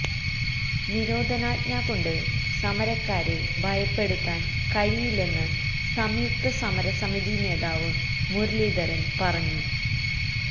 നിരോധനാജ്ഞ കൊണ്ട് സമരക്കാരെ ഭയപ്പെടുത്താന് കഴിയില്ലെന്ന് സംയുക്ത സമരസമിതി നേതാവ് മുരളിധരന് പറഞ്ഞു